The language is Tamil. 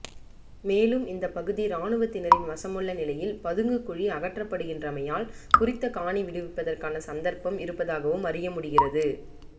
மேலும் இந்தப் பகுதி இராணுவத்தினரின் வசமுள்ள நிலையில் பதுங்கு குழி அகற்றப்படுகின்றமையால் குறித்த காணி விடுவிப்பதற்கான சந்தர்ப்பம் இருப்பதாகவும் அறியமுடிகிறது